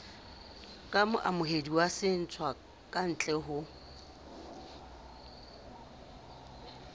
ka moamohedi wa setswakantle ho